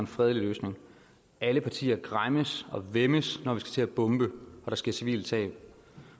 en fredelig løsning alle partier græmmes og væmmes når vi skal til at bombe og der sker civile tab